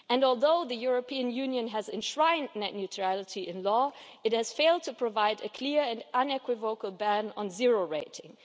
Although the European Union has enshrined net neutrality in law, it has failed to provide a clear and unequivocal ban on zero rating.